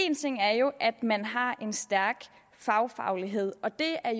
en ting er jo at man har en stærk fagfaglighed og det er